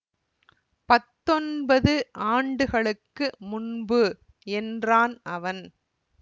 பத்தொன்பது ஆண்டுகளுக்கு முன்பு என்றான் அவன்